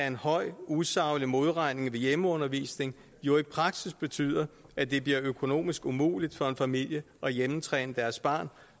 en høj usaglig modregning ved hjemmeundervisning jo i praksis betyder at det bliver økonomisk umuligt for en familie at hjemmetræne deres barn